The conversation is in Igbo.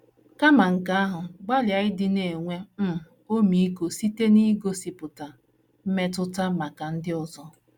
Kama nke ahụ, gbalịa ịdị na - enwe um ọmịiko site n’igosipụta “ mmetụta maka ndị ọzọ. ”